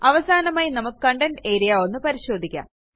അവസാനമായി നമുക്ക് content area ഒന്ന് പരിശോധിക്കാം